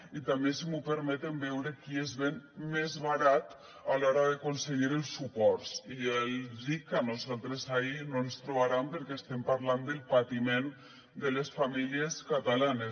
i també si m’ho permeten veure qui es ven més barat a l’hora d’aconseguir els suports i ja els dic que a nosaltres ahí no ens hi trobaran perquè estem parlant del patiment de les famílies catalanes